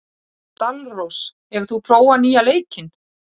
Dalrós, hefur þú prófað nýja leikinn?